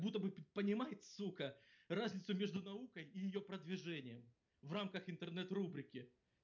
как будто понимает сука разницу между наукой и её продвижением в рамках интернет рубрики